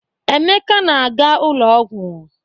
Emeka na-aga ụlọ ọgwụ.